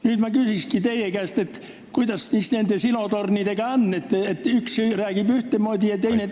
Nüüd ma küsingi teie käest, kuidas siis nende silotornidega on, kui üks räägib ühtemoodi ja teine teistmoodi.